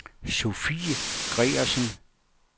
Sofie Gregersen